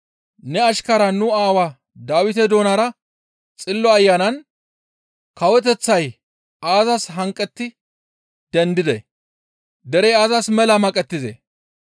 Ne ashkaraa nu aawaa Dawite doonara Xillo Ayanan, « ‹Kawoteththay aazas hanqetti dendidee? Derey aazas mela maqettizee?